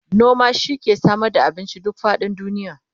noma shi ke Samar da abinci duk faɗin duniya